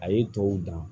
A ye tɔw dan